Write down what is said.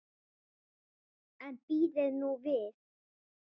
En bíðið nú við.